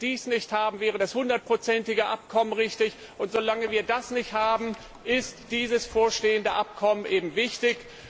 Solange wir dies nicht haben, wäre das hundertprozentige Abkommen richtig, und solange wir das nicht haben, ist dieses vorliegende Abkommen eben wichtig.